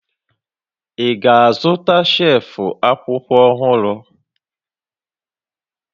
Ị ga-azụta shelf akwụkwọ ọhụrụ?